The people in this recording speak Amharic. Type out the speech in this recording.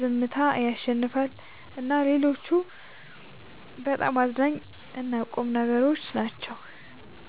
ዝምታ ያሸልማል እና ሌሎችም በጣም አዝናኝ እና ቁም ነገሮች ናቸው።